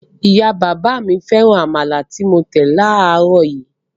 Ìyá-bàbá mi féràn amala tí mo tẹ̀ láàárọ̀ yìí.